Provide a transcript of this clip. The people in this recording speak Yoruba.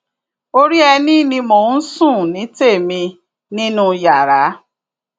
orí ẹni ni mò ń sùn ní tèmi nínú yàrá